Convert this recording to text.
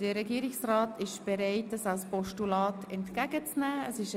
Der Regierungsrat ist bereit, dass Postulat entgegenzunehmen.